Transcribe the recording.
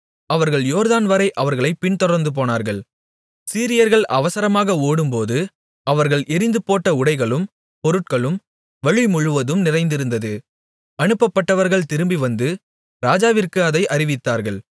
அவர்கள் யோர்தான்வரை அவர்களைப் பின்தொடர்ந்துபோனார்கள் சீரியர்கள் அவசரமாக ஓடும்போது அவர்கள் எறிந்துபோட்ட உடைகளும் பொருட்களும் வழி முழுவதும் நிறைந்திருந்தது அனுப்பப்பட்டவர்கள் திரும்பிவந்து ராஜாவிற்கு அதை அறிவித்தார்கள்